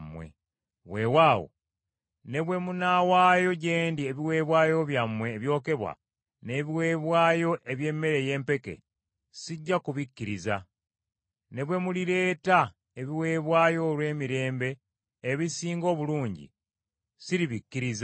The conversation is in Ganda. Weewaawo, ne bwe munaawaayo gye ndi ebiweebwayo byammwe ebyokebwa n’ebiweebwayo eby’emmere ey’empeke, sijja kubikkiriza. Ne bwe mulireeta ebiweebwayo olw’emirembe ebisinga obulungi, siribikkiriza.